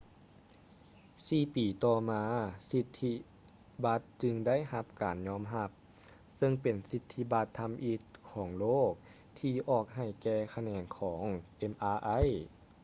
ສີ່ປີຕໍ່ມາສິດທິບັດຈຶ່ງໄດ້ຮັບການຍອມຮັບ ເຊິ່ງເປັນສິດທິບັດທຳອິດຂອງໂລກທີ່ອອກໃຫ້ແກ່ຂະແໜງຂອງ mri